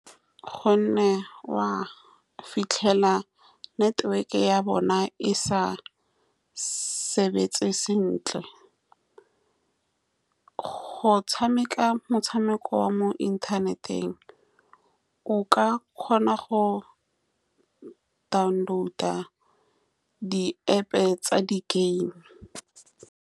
Ka gonne wa fitlhela network-e ya bona e sa sebetse sentle, go tshameka motshameko wa mo inthaneteng o ka kgona go download-a di-App-pe tsa di-game.